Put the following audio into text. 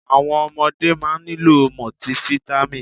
Àwọn ọmọdé máa nílò mọtifítámì.